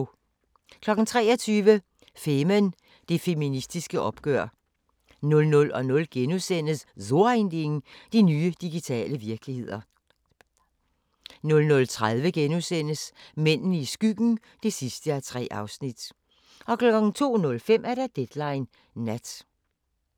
23:00: Femen: Det feministiske oprør 00:00: So ein Ding: De nye digitale virkeligheder * 00:30: Mændene i skyggen (3:3)* 02:05: Deadline Nat